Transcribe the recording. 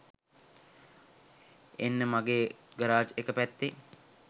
එන්න මගේ ගරාජ් එක පැත්තෙ.